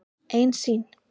Ein sýn.